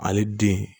Ale den